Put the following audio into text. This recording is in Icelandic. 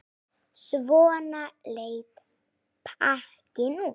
Svona leit pakkinn út.